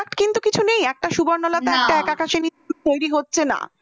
নেই একটা সুবর্ণলতা একটা এক আকাশের নিচে তৈরি হচ্ছে না